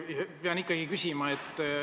Ma pean üht asja küsima.